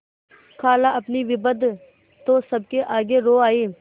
खालाअपनी विपद तो सबके आगे रो आयी